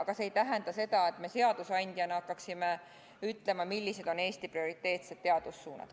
Kuid see ei tähenda seda, et me seadusandjana hakkaksime ütlema, millised on Eesti prioriteetsed teadussuunad.